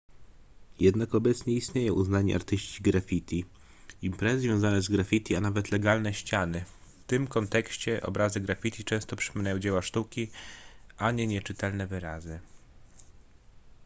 jednak obecnie istnieją uznani artyści graffiti imprezy związane z graffiti a nawet legalne ściany w tym kontekście obrazy graffiti często przypominają dzieła sztuki a nie nieczytelne wyrazy